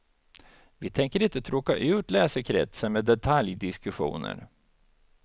Vi tänker inte tråka ut läsekretsen med detaljdiskussioner.